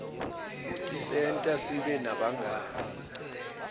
tisenta sibe nebangani